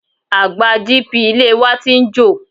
Àgbá GP ilé e wa ti ń jò.